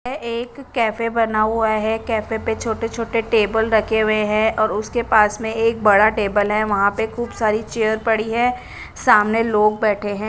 एक कैफ़े बना हुआ है कैफ़े पे छोटे छोटे टेबल रखे हुए है और उसके पास में एक बड़ा टेबल है वहा पे खूब सारी चेयर पड़ी है सामने लोग बेठे है।